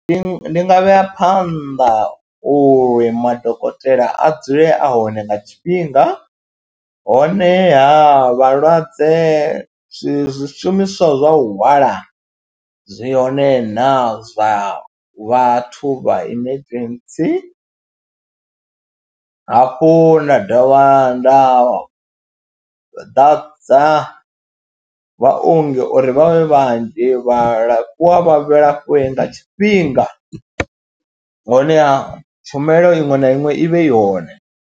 Ndi nga vhea phanḓa uri madokotela a dzule a hone nga tshifhinga honeha vhalwadze zwi zwishumiswa zwa u hwala zwi hone na zwa vhathu vha emergency, hafhu nda dovha nda ḓadza vhaongi uri vha vhe vhanzhi, vhaalafhiwa vha alafhiwe nga tshifhinga honeha tshumelo iṅwe na iṅwe i vhe i hone.